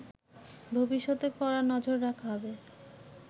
ভবিষ্যতে কড়া নজর রাখা হবে